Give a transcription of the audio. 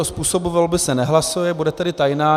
O způsobu volby se nehlasuje, bude tedy tajná.